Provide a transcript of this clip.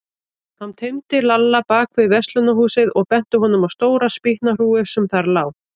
Hann teymdi Lalla bak við verslunarhúsið og benti honum á stóra spýtnahrúgu sem þar lá.